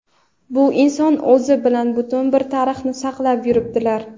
bu inson o‘zi bilan butun bir tarixni saqlab yuribdilar.